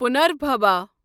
پنربھبا